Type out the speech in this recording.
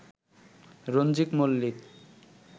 Ranjit Mallick